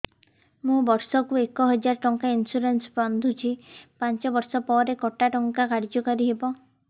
ମୁ ବର୍ଷ କୁ ଏକ ହଜାରେ ଟଙ୍କା ଇନ୍ସୁରେନ୍ସ ବାନ୍ଧୁଛି ପାଞ୍ଚ ବର୍ଷ ପରେ କଟା ଟଙ୍କା କାର୍ଯ୍ୟ କାରି ହେବ